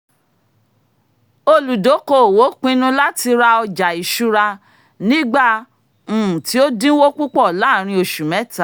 olùdókoòwò pinnu láti ra ọjà-ìṣura nígbà um tí ó dínwó púpọ̀ láàárín oṣù mẹ́ta